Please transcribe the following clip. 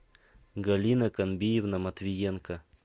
галина комбиевна матвиенко